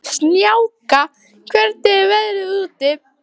Snjáka, hvernig er veðrið úti?